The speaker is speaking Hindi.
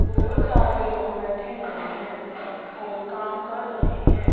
बहुत सारे लोग बैठे हुए हैं और काम कर रहे हैं।